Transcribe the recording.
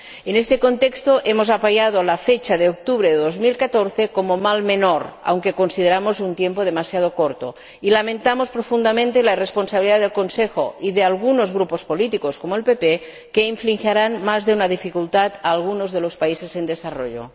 En este contexto, hemos apoyado la fecha de octubre de 2014 como mal menor, aunque consideramos que es un plazo demasiado corto, y lamentamos profundamente la responsabilidad en esta cuestión del Consejo y de algunos grupos políticos, como el PPE, que causarán más de una dificultad a algunos de los países en desarrollo.